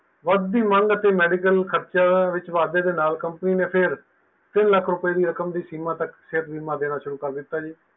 ਵੱਧ ਦੀ ਮੰਗ ਅਤੇ medical ਖਰਚੇ ਦੇ ਵਾਦੇ ਨਾਲ companies ਦੇ ਨਾਲ ਤਿਨ ਲੱਖ ਦੀ ਰਕਮ ਦੀ ਸੀਮਾ ਦੇ ਨਾਲ ਸੇਹਤ ਬੀਮਾ ਦੇਣਾ ਸ਼ੁਰੂ ਕਰ ਦਿਤਾ ਹੈ ਜੀ